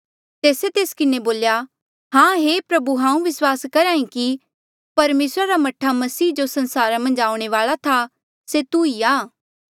तेस्से तेस किन्हें बोल्या हां हे प्रभु हांऊँ विस्वास करी कि परमेसरा रा मह्ठा मसीह जो संसारा मन्झ आऊणें वाल्आ था से तू ई आ